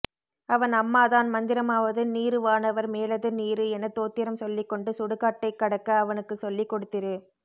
அவன் அம்மாதான் மந்திரமாவது நீறு வானவர் மேலது நீறு என தோத்திரம் சொல்லிக்கொண்டு சுடுகாட்டை க்கடக்க அவனுக்குச்சொல்லிக்கொடுத்திரு